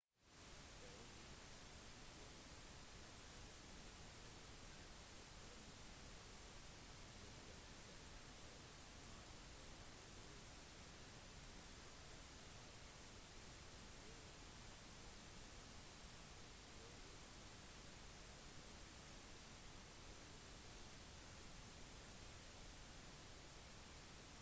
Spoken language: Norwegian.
de ulike konstruksjonene har ulike muligheter er følsomme for ulike bølgelengder og har forskjellig grad av skarphet samt de krever annen behandling for å gi mening av inntastingen og ulike tall for å arbeide optimalt